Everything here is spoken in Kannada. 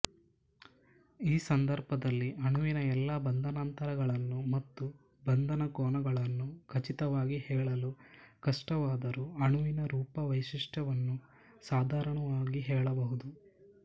ಈ ಸಂದರ್ಭದಲ್ಲಿ ಅಣುವಿನ ಎಲ್ಲ ಬಂಧನಾಂತರಗಳನ್ನು ಮತ್ತು ಈ ಬಂಧನಕೋನಗಳನ್ನು ಖಚಿತವಾಗಿ ಹೇಳಲು ಕಷ್ಟವಾದರೂ ಅಣುವಿನ ರೂಪವೈಶಿಷ್ಟ್ಯವನ್ನು ಸಾಧಾರಣವಾಗಿ ಹೇಳಬಹುದು